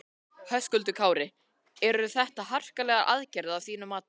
Höskuldur Kári: Eru þetta harkalegar aðgerðir að þínu mati?